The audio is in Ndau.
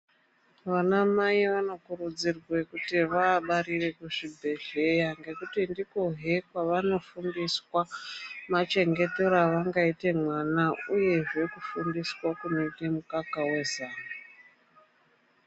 Vanamai vanokurudzirwe kuti vabarire kuchibhedhleya ngekuti ndikwo kwavanofundiswa machengetereo avangaite vana uye kumufundisa kumupe mukaka wezamu